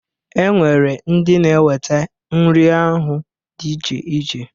E nwere ndị na-eweta nri ahụ dị iche iche.